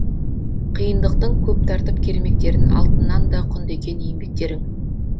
қиындықтың көп тартып кермектерін алтыннан да құнды екен еңбектерің